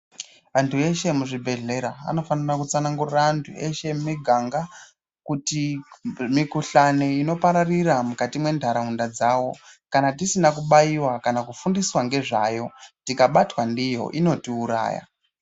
Vantu veshe muzvibhedlera anofanira kutsanangura antu eshe vemiganga kuti mikuhlane inopararira mukati mentaraunda dzavo kana tisina kubayiwa kana kufundiswa ngezvayo ,tikabatwa ndiyo inotiwuraya.